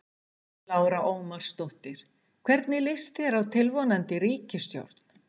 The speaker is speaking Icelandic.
Lára Ómarsdóttir: Hvernig líst þér á tilvonandi ríkisstjórn?